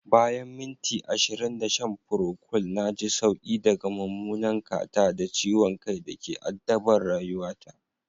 Bayan minti ashirin da shan procold na ji sauki daga mummunan catarrh da ciwon kai da ke addabar rayuwata